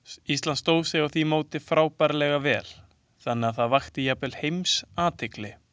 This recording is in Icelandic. Ísland stóð sig á því móti frábærlega vel, þannig að það vakti jafnvel alheimsathygli.